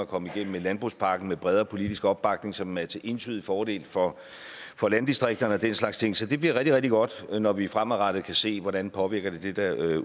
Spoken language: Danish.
at komme igennem med landbrugspakken med bredere politisk opbakning som er til entydig fordel for for landdistrikterne og den slags ting så det bliver rigtig rigtig godt når vi fremadrettet kan se hvordan det påvirker det derude